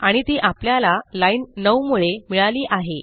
आणि ती आपल्याला लाईन 9 मुळे मिळाली आहे